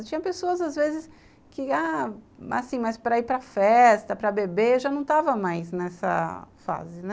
Eu tinha pessoas, às vezes, que ah, assim, mas para ir para festa, para beber, eu já não estava mais nessa fase, né?